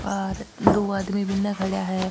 और दो आदमी बीने खड़ा है।